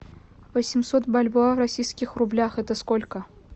восемьсот бальбоа в российских рублях это сколько